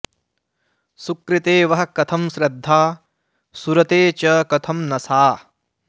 सुकृते वः कथं श्रद्धा सुरते च कथं न सा